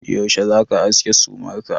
Yaushe za ka aske sumar ka?